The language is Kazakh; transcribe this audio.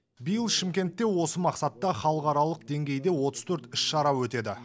биыл шымкентте осы мақсатта халықаралық деңгейде отыз төрт іс шара өтеді